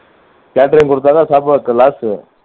யும் குடுத்தாத்தான்